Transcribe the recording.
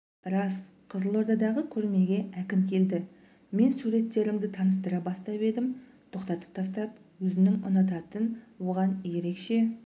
рас қызылордадағы көрмеге әкім келді мен суреттерімді таныстыра бастап едім тоқтатып тастап өзінің ұнататын оған ерекше